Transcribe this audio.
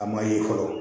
A ma ye fɔlɔ